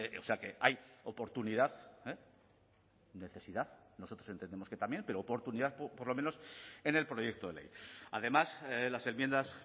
o sea que hay oportunidad necesidad nosotros entendemos que también pero oportunidad por lo menos en el proyecto de ley además las enmiendas